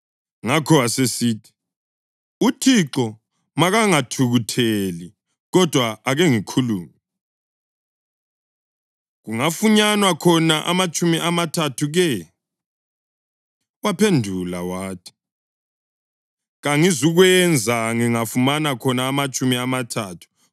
Ngakho wasesithi, “UThixo makangathukutheli, kodwa ake ngikhulume. Kungafunyanwa khona amatshumi amathathu ke?” Waphendula wathi, “Kangizukukwenza ngingafumana khona amatshumi amathathu.”